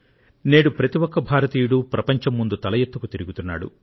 నేడు ప్రతి ఒక్క భారతీయుడు ప్రపంచం ముందు తల ఎత్తుకు తిరుగుతున్నాడు